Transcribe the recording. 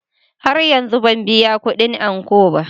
Har yanzu ban biya kudin ankon ba.